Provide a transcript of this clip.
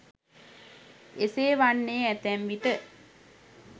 එසේ වන්නේ ඇතැම් විට